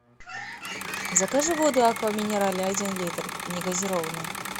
закажи воду аква минерале один литр негазированную